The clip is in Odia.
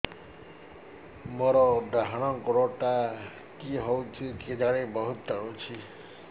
ମୋର୍ ଡାହାଣ୍ ଗୋଡ଼ଟା କି ହଉଚି କେଜାଣେ ବହୁତ୍ ଟାଣୁଛି